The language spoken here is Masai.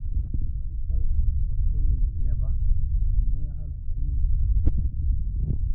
radical vulvectomy nailepa :eyiangata naitayuni enkiti iweuji e vulva.